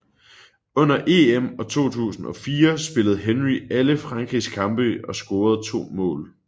Under EM 2004 spillede Henry alle Frankrigs kampe og scorede to mål